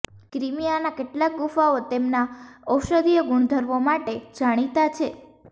ક્રિમીઆના કેટલાક ગુફાઓ તેમના ઔષધીય ગુણધર્મો માટે જાણીતા છે